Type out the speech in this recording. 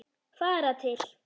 Fara til